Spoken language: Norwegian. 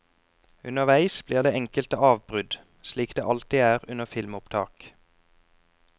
Underveis blir det enkelte avbrudd, slik det alltid er under filmopptak.